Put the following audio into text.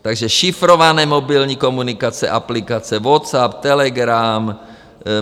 Takže šifrované mobilní komunikační aplikace - WhatsApp, Telegram.